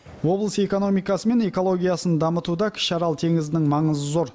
облыс экономикасы мен экологиясын дамытуда кіші арал теңізінің маңызы зор